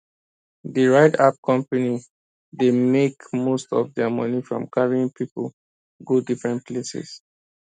the ride app company dey make most of their money from carrying people go different places